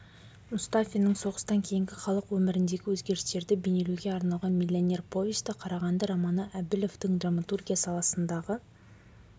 мұстафиннің соғыстан кейінгі халық өміріндегі өзгерістерді бейнелеуге арналған миллионер повесті қарағанды романы әбілевтің драматургия саласындағы